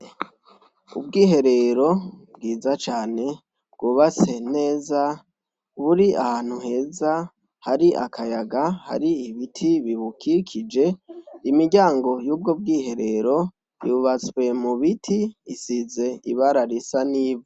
Ubwiherero bwiza cane bwubatse neza, buri ahantu heza hari akayaga, hari ibiti bibukikije. Imiryango y'ubwo bwiherero yubatswe mu biti, isize ibara risa n'ivu.